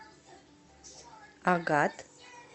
агат